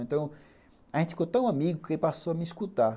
Então, a gente ficou tão amigo que ele passou a me escutar.